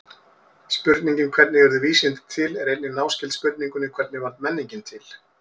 Spurningin hvernig urðu vísindi til er einnig náskyld spurningunni hvernig varð menningin til?